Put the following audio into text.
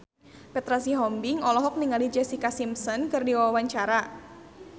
Petra Sihombing olohok ningali Jessica Simpson keur diwawancara